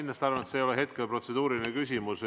Ma arvan, et see ei ole protseduuriline küsimus.